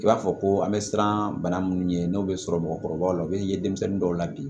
I b'a fɔ ko an bɛ siran bana minnu ɲɛ n'o bɛ sɔrɔ mɔgɔkɔrɔbaw la u bɛ ye denmisɛnnin dɔw la bi